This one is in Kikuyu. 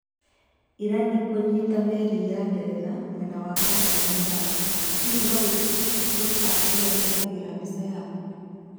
Irani kũnyiita meri ya Ngeretha mwena wa Persian Gulf Hihi no wĩtĩkie FaceApp ĩrĩa ĩhũthagĩra mbica yaku?